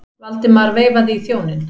Valdimar veifaði í þjóninn.